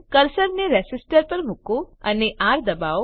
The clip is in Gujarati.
કર્સરને રેસીસ્ટર પર મુકો અને આર દબાવો